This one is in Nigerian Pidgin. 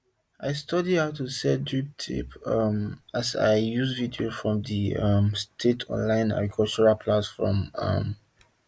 i study how to set drip tape um as i use video from the um state online agricultural platform um